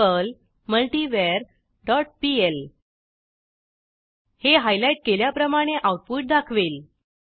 Perl multiver dot PL हे highlight केल्याप्रमाणे output दाखवेल